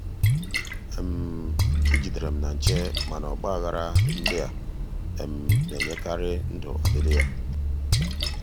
ị um jidere m na nche mana ọgba aghara ndị a um na-enyekarị um ndụ ọdịdị ya.